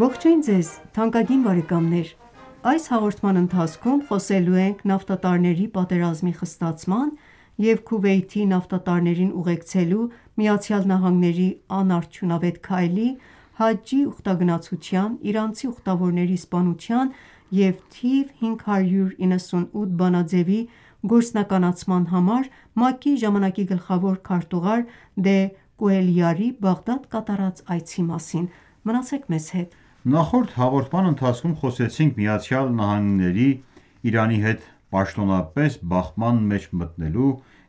Ողջույն ձեզ թանկագին բարեկամներ: Այս հաղորդման ընթացքում խոսելու ենք նավթատարների պատերազմի խստացման և Քուվեյթի նավթատարներին ուղեկցելու ԱՄՆ-ի անարդյունավետ քայլի, Հաջջի իրանցի ուխտավորների սպանության և թիվ 598 բանաձևի գործնականացման համար ՄԱԿ-ի ժամանակի գլխավոր քարտուղար դե Կուելյարի Բաղդադ կատարած այցի մասին: Նախորդ հաղորդման ընթացքում խոսեցինք ԱՄՆ-ի Իրանի հետ պաշտոնապես բախման մեջ մտնելու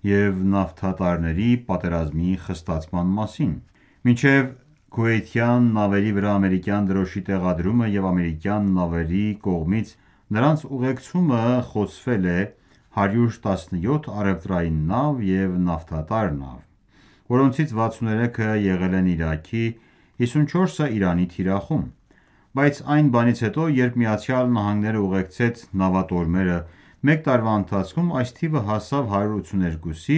և նավթատարների պատերազմի խստացման մասին: Մինչև Քուվեյթյան նավերի վրա ամերիկյան դրոշի տեղադրումը և ամերիկյան նավերի կողմից նրանց ուղեկցումը խոցվել է 117 առևտրային նավ և նավթատար նավ, որոնցից 63-ը եղել են Իրաքի, 54-ը՝ Իրանի թիրախում։ Բայց այն բանից հետո, երբ ԱՄՆ-ն ​​ուղեկցեց նավատորմերը, մեկ տարվա ընթացքում այս թիվը հասավ 182-ի,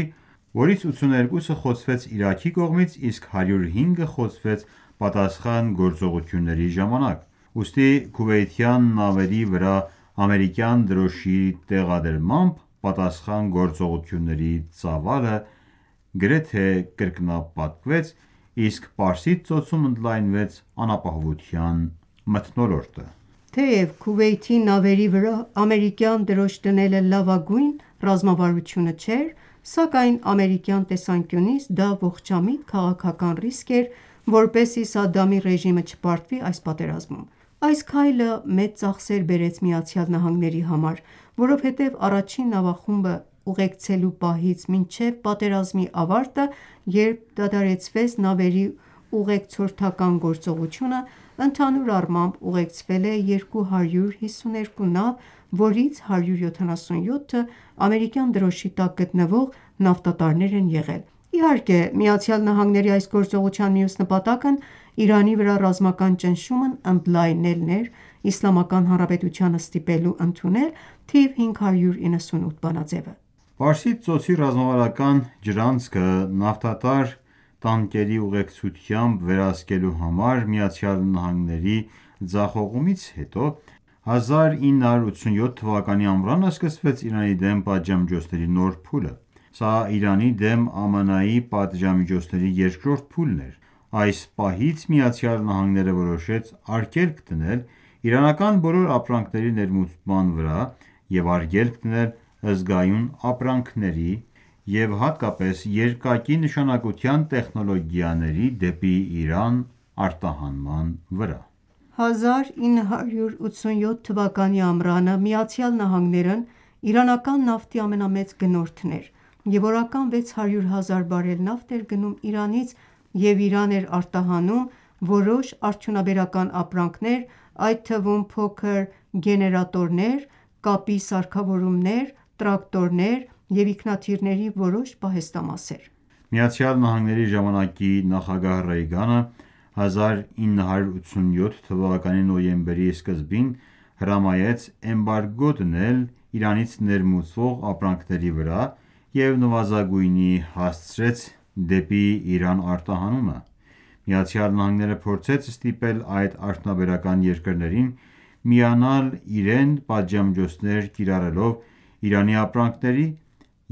որից 82-ը խոցվեց Իրաքի կողմից, իսկ 105-ը խոցվեց պատասխան գործողությունների ժամանակ։ Ուստի Քուվեյթյան նավերի վրա ամերիկյան դրոշի տեղադրմամբ պատասխան գործողությունների ծավալը գրեթե կրկնապատկվեց, իսկ Պարսից Ծոցում ընդլայնվեց անապահովության մթնոլորտը։ Թեև Քուվեյթի նավերի վրա ամերիկյան դրոշ դնելը լավագույն ռազմավարությունը չէր, սակայն ամերիկյան տեսանկյունից դա ողջամիտ քաղաքական ռիսկ էր, որպեսզի Սադամի ռեժիմը չպարտվի այս պատերազմում։ Այս քայլը մեծ ծախսեր բերեց ԱՄՆ-ի համար։ Որովհետև առաջին նավախումբը ուղեկցելու պահից մինչև պատերազմի ավարտը, երբ դադարեցվեց նավերի ուղեկցորդական գործողությունը, ընդհանուր առմամբ ուղեկցվել է 252 նավ, որից 177-ը՝ ամերիկյան դրոշի տակ գտնվող նավթատարներ են եղել։ Իհարկե, ԱՄՆ-ի այս գործողության մյուս նպատակը Իրանի վրա ռազմական ճնշումն ընդլայնելն էր՝ Իսլամական Հանրապետությանը ստիպելու ընդունել թիվ 598 բանաձեւը։ Պարսից ծոցի ռազմավարական ջրանցքը նավթատար տանկերի ուղեկցությամբ վերահսկելու համար ԱՄՆ-ի ձախողումից հետո, 1987 թվականի ամռանը սկսվեց Իրանի դեմ պատժամիջոցների նոր փուլը: Սա Իրանի դեմ ԱՄՆ պատժամիջոցների երկրորդ փուլն էր։ Այս պահից ԱՄՆ-ն ​​որոշեց արգելք դնել իրանական բոլոր ապրանքների ներմուծման վրա և արգելք դնել զգայուն ապրանքների և հատկապես երկակի նշանակության տեխնոլոգիաների դեպի Իրան արտահանման վրա։ 1987 թվականի ամռանը ԱՄՆ-ն ​​իրանական նավթի ամենամեծ գնորդն էր և օրական 600 հազար բարել նավթ էր գնում Իրանից և Իրան էր արտահանում որոշ արդյունաբերական ապրանքներ, այդ թվում՝ փոքր գեներատորներ, կապի սարքավորումներ, տրակտորներ և ինքնաթիռների որոշ պահեստամասեր։ ԱՄՆ-ի ժամանակի նախագահ Ռեյգանը 1987 թվականի նոյեմբերի սկզբին հրամայեց էմբարգո դնել Իրանից ներմուծվող ապրանքների վրա և նվազագույնի հասցրեց դեպի Իրան արտահանումը: ԱՄՆ-ն փորձեց ստիպել այլ արդյունաբերական երկրներին միանալ իրեն՝ պատժամիջոցներ կիրառելով Իրանի ապրանքների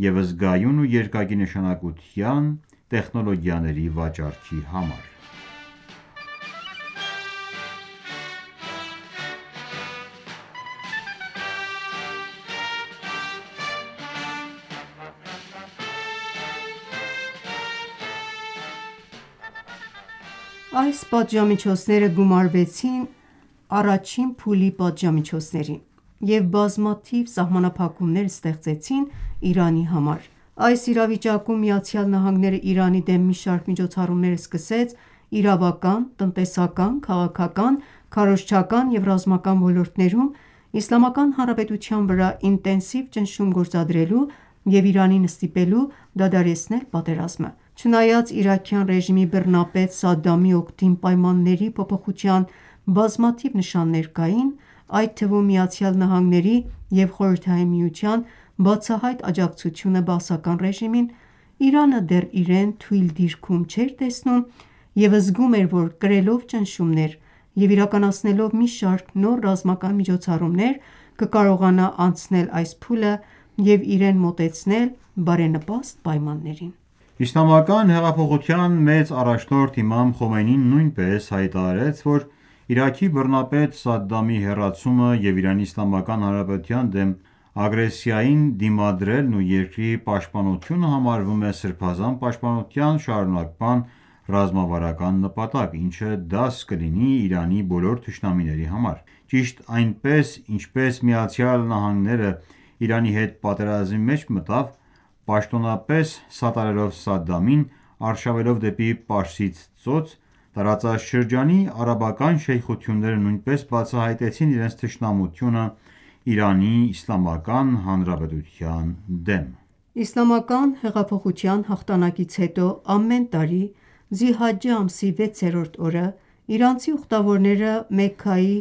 և զգայուն ու երկակի նշանակության և տեխնոլոգիաների վաճառքի համար: Այս պատժամիջոցները գումարվեցին առաջին փուլի պատժամիջոցներին և բազմաթիվ սահմանափակումներ ստեղծեցին Իրանի համար։ Այս իրավիճակում ԱՄՆ-ն ​​Իրանի դեմ մի շարք միջոցառումներ սկսեց իրավական, տնտեսական, քաղաքական, քարոզչական և ռազմական ոլորտներում՝ Իսլամական Հանրապետության վրա ինտենսիվ ճնշում գործադրելու և Իրանին ստիպելու դադարեցնել պատերազմը։ Չնայած իրաքյան ռեժիմի բռնապետ Սադամի օգտին պայմանների փոփոխության բազմաթիվ նշաններ կային, այդ թվում՝ ԱՄՆ-ի և ԽՍՀՄ-ի բացահայտ աջակցությունը բաասական ռեժիմին, Իրանը դեռ իրեն թույլ դիրքում չէր տեսնում և զգում էր, որ կրելով ճնշումներ և իրականացնելով մի շարք նոր ռազմական միջոցառումներ կկարողանա անցնել այս փուլը և իրեն մոտեցնել բարենպաստ պայմաններին։ Իսլամական հեղափոխության մեծ առաջնորդ Իմամ Խոմեյնին նույնպես հայտարարեց, որ Իրաքի բռնապետ Սադամի հեռացումը և Իրանի Իսլամական Հանրապետության դեմ ագրեսիային դիմադրելն ու երկրի պաշտպանությունը համարվում է Սրբազան պաշտպանության շարունակման ռազմավարական նպատակ, ինչը դաս կլինի Իրանի բոլոր թշնամիների համար: Ճիշտ այնպես, ինչպես ԱՄՆ-ն ​​Իրանի հետ պատերազմի մեջ մտավ՝ պաշտոնապես սատարելով Սադդամին՝ արշավելով դեպի Պարսից ծոց, տարածաշրջանի արաբական շեյխությունները նույնպես բացահայտեցին իրենց թշնամությունը ԻԻՀ-ի դեմ։ Իսլամական հեղափոխության հաղթանակից հետո, ամեն տարի Զիհաջջե ամսի վեցերորդ օրը, իրանցի ուխտավորները Մեքքայի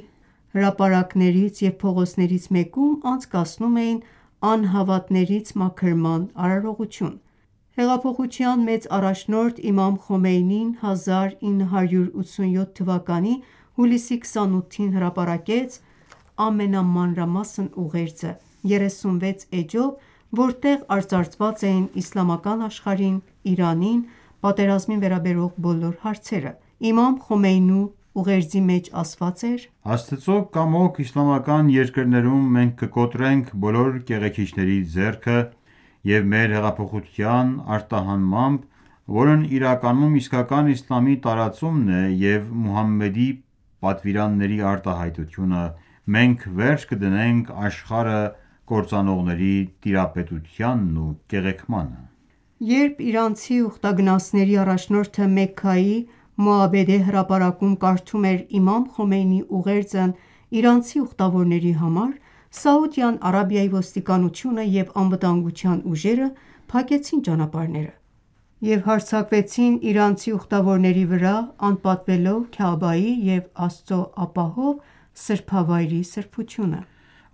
հրապարակներից և փողոցներից մեկում անցկացնում էին անհավատներից մաքրման արարողություն: Հեղափոխության մեծ առաջնորդ Իմամ Խոմեյնին 1987 թվականի հուլիսի 28-ին հրապարակեց ամենամանրամասն ուղերձը՝ 36 էջով, որտեղ արծարծված էին իսլամական աշխարհին, Իրանին, պատերազմին վերաբերող բոլոր հարցերը։ Իմամ Խոմեյնու ուղերձի մեջ ասված էր.«Աստծո կամոք իսլամական երկրներում մենք կկոտրենք բոլոր կեղեքիչների ձեռքը, և մեր հեղափոխության արտահանմամբ, որն իրականում իսկական իսլամի տարածումն է և Մուհամմեդի պատվիրանների արտահայտությունը, մենք վերջ կդնենք աշխարհը կործանողների տիրապետությանն ու կեղեքմանը»։ Երբ իրանցի ուխտագնացների առաջնորդը Մեքքայի Մոաբեդե հրապարակում կարդում էր Իմամ Խոմեյնիի ուղերձը իրանցի ուխտավորների համար, Սաուդյան Արաբիայի ոստիկանությունը և անվտանգության ուժերը փակեցին ճանապարհները և հարձակվեցին իրանցի ուխտավորների վրա՝ անպատվելով Քաաբայի և Աստծո ապահով սրբավայրի սրբությունը: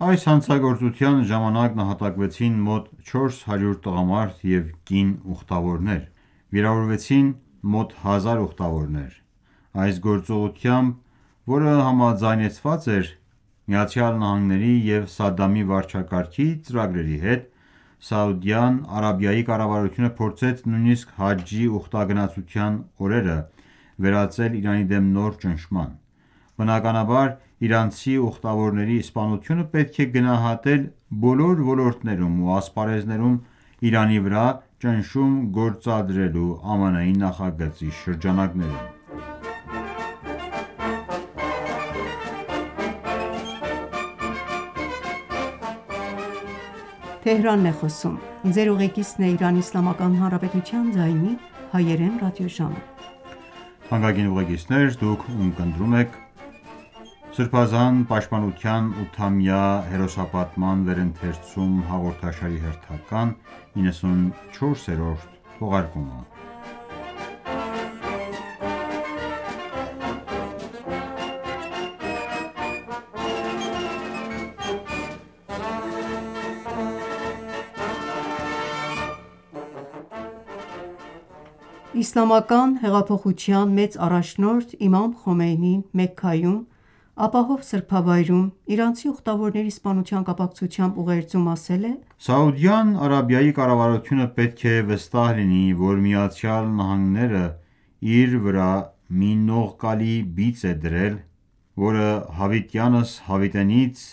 Այս հանցագործության ժամանակ նահատակվեցին մոտ 400 տղամարդ և կին ուխտավորներ, վիրավորվեցին մոտ 1000 ուխտավորներ։ Այս գործողությամբ, որ համաձայնեցված էր ԱՄՆ-ի և Սադդամի վարչակարգի ծրագրերի հետ, Սաուդյան Արաբիայի կառավարությունը փորձեց նույնիսկ Հաջի ուխտագնացության օրերը վերածել Իրանի դեմ նոր ճնշման։ Բնականաբար, իրանցի ուխտավորների սպանությունը պետք է գնահատել բոլոր ոլորտներում ու ասպարեզներում Իրանի վրա ճնշում գործադրելու ԱՄՆ-ի նախագծի շրջանակներում։ Իսլամական հեղափոխության մեծ առաջնորդ Իմամ Խոմեյնին Մեքքայում՝ ապահով սրբավայրում իրանցի ուխտավորների սպանության կապակցությամբ ուղերձում ասել է.«Սաուդյան Արաբիայի կառավարությունը պետք է վստահ լինի, որ ԱՄՆ-ն իր վրա մի նողկալի բիծ է դրել, որը հավիտյանս հավիտենից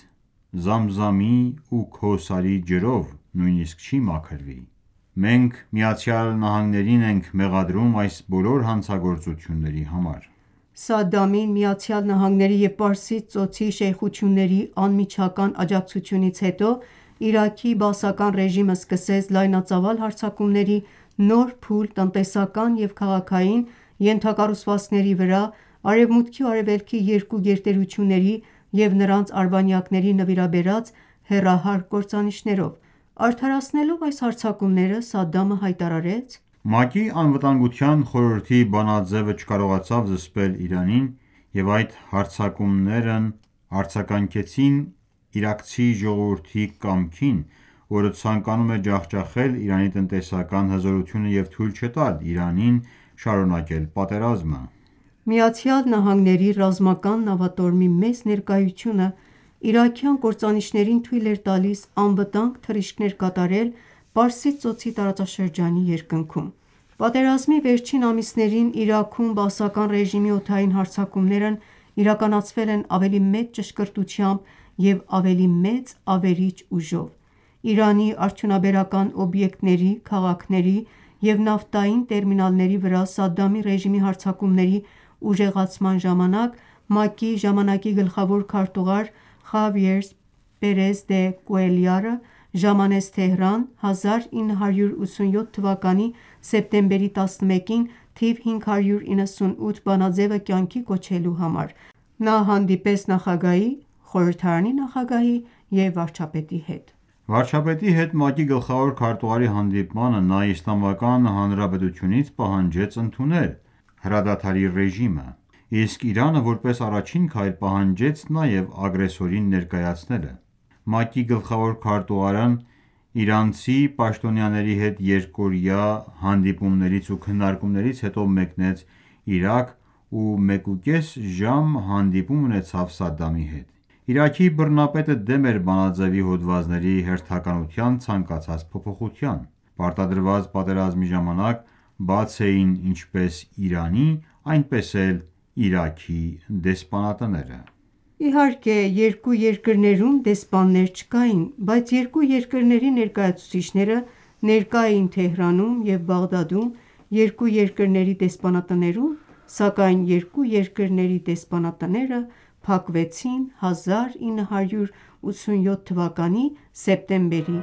Զամզամի ու Քոսարի ջրով չի մաքրվի.... Մենք ԱՄՆ-ին ենք մեղադրում այս բոլոր հանցագործությունների համար»։ Սադամին ԱՄՆ-ի և Պարսից ծոցի շեյխությունների անմիջական աջակցությունից հետո Իրաքի Բաասի ռեժիմը սկսեց լայնածավալ հարձակումների նոր փուլ տնտեսական և քաղաքային ենթակառուցվածքների վրա՝ արևմուտքի ու արևելքի երկու գերտերությունների և նրանց արբանյակների նվիրաբերած հեռահար կործանիչներով։ Արդարացնելով այս հարձակումները՝ Սադդամը հայտարարեց.«ՄԱԿ-ի Անվտանգության խորհրդի բանաձևը չկարողացավ զսպել Իրանին, և այդ հարձակումներն արձագանքեցին իրաքցի ժողովրդի կամքին, որը ցանկանում է ջախջախել Իրանի տնտեսական հզորությունը և թույլ չտալ Իրանին շարունակել պատերազմը»։ ԱՄՆ ռազմական նավատորմի մեծ ներկայությունը իրաքյան կործանիչներին թույլ էր տալիս անվտանգ թռիչքներ կատարել Պարսից ծոցի տարածաշրջանի երկնքում։ Պատերազմի վերջին ամիսներին Իրաքում Բաասական ռեժիմի օդային հարձակումներն իրականացվել են ավելի մեծ ճշգրտությամբ և ավելի մեծ ավերիչ ուժով։ Իրանի արդյունաբերական օբյեկտների, քաղաքների և նավթային տերմինալների վրա Սադդամի ռեժիմի հարձակումների ուժեղացման ժամանակ ՄԱԿ-ի այն ժամանակվա գլխավոր քարտուղար Խավիերզ Պերեզ դե Կուելյարը ժամանեց Թեհրան՝ 1987 թվականի սեպտեմբերի 11-ին 598-րդ բանաձևը կյանքի կոչելու համար։ Նա հանդիպեց նախագահի, խորհրդարանի նախագահի և վարչապետի հետ։ Վարչապետի հետ ՄԱԿ-ի գլխավոր քարտուղարի հանդիպմանը նա Իսլամական Հանրապետությունից պահանջեց ընդունել կողմից հրադադարի ռեժիմը, իսկ Իրանը որպես առաջին քայլ պահանջեց նաև ագրեսորին ներկայացնելը։ ՄԱԿ-ի գլխավոր քարտուղարն իրանցի պաշտոնյաների հետ երկօրյա հանդիպումներից ու քննարկումներից հետո մեկնեց Իրաք ու մեկուկես ժամ հանդիպում ունեցավ Սադամի հետ։ Իրաքի բռնապետը դեմ էր բանաձեւի հոդվածների հերթականության ցանկացած փոփոխության։ Պարտադրված պատերազմի ժամանակ բաց էին ինչպես Իրանի, այնպես էլ Իրաքի դեսպանատները։ Իհարկե, երկու երկրներում դեսպաններ չկային, բայց երկու երկրների ներկայացուցիչները ներկա էին Թեհրանում և Բաղդադում երկու երկրների դեսպանատներում, սակայն երկու երկրների դեսպանատները փակվեցին 1987 թվականի սեպտեմբերի